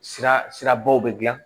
Sira sirabaw bɛ gilan